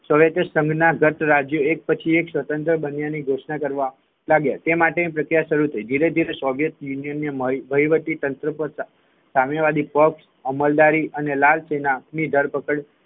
સોંગટે સંઘના ધટ રાજ્ય એક પછી એક સ્વતંત્ર બન્યા ની ઘોષણા કરવા લાગ્યા તેના માટે પ્રચાર ની શરૂ થઈ ધીરે ધીરે સોંગટે યુનિયન વહીવટીતંત્ર કરતા સામ્યવાદી પક્ષ અમલદારી અને લાલ સેના ની ધરપકડ